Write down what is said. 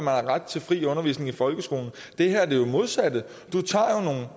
har ret til fri undervisning i folkeskolen det her er det modsatte